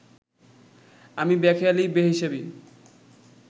আমি বেখেয়ালি বেহিশেবি